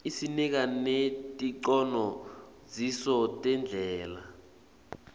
isinika neticondziso tendlela